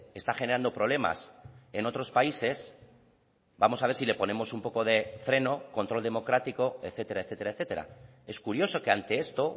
está generando problemas en otros países vamos a ver si le ponemos un poco de freno control democrático etcétera etcétera etcétera es curioso que ante esto